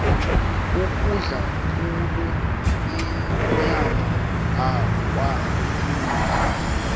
ukudla khulu inyama akwalungi